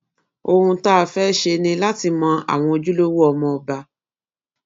ohun tá a fẹẹ ṣe ni láti mọ àwọn ojúlówó ọmọọba